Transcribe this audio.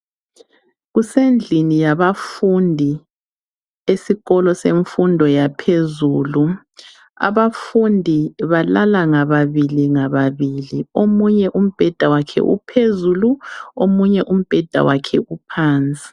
Kusendlini yabafundi esikolo semfundo yaphezulu, abafundi balala ngababili ngababili omunye umbheda wakhe uphezulu omunye umbheda wakhe uphansi.